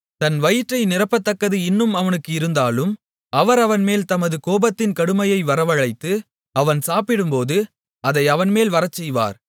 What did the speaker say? தன் வயிற்றை நிரப்பத்தக்கது இன்னும் அவனுக்கு இருந்தாலும் அவர் அவன்மேல் தமது கோபத்தின் கடுமையை வரவழைத்து அவன் சாப்பிடும்போது அதை அவன்மேல் வரச்செய்வார்